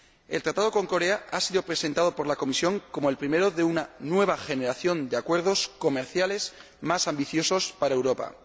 El Tratado con Corea del Sur ha sido presentado por la Comisión como el primero de una nueva generación de acuerdos comerciales más ambiciosos para Europa.